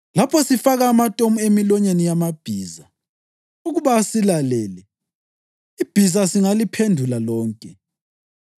Lapho sifaka amatomu emilonyeni yamabhiza ukuba asilalele, ibhiza singaliphendula lonke.